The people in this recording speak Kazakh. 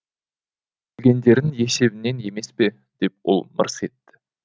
өлгендердің есебінен емес пе деп ол мырс етті